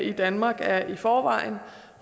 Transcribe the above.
i danmark er i forvejen